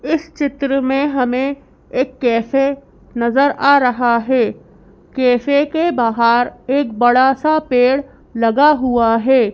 इस चित्र में हमें एक कैफे नजर आ रहा है कैफे के बाहर एक बड़ा सा पेड़ लगा हुआ है।